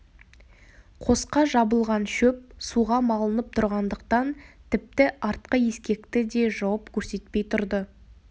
қосқа жабылған шөп суға малынып тұрғандықтан тіпті артқы ескекті де жауып көрсетпей тұрды